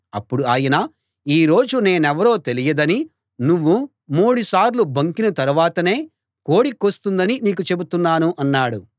అప్పుడు ఆయన ఈ రోజు నేనెవరో తెలియదని నువ్వు మూడుసార్లు బొంకిన తరువాతనే కోడి కూస్తుందని నీకు చెబుతున్నాను అన్నాడు